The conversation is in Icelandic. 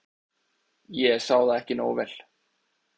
ég sá það ekki nógu vel.